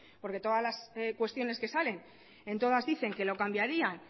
porque todas las cuestiones que salen en todas dicen que lo cambiarían